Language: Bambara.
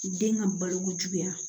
Den ka baloko juguya